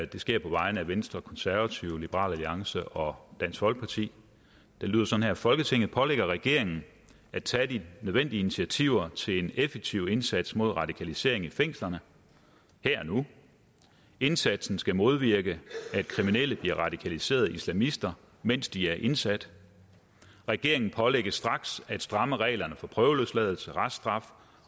det sker på vegne af venstre konservative liberal alliance og dansk folkeparti det lyder sådan vedtagelse folketinget pålægger regeringen at tage de nødvendige initiativer til en effektiv indsats mod radikalisering i fængslerne her og nu indsatsen skal modvirke at kriminelle bliver radikaliserede islamister mens de er indsat regeringen pålægges straks at stramme reglerne for prøveløsladelse og reststraf